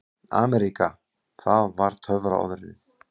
AMERÍKA það var töfraorðið.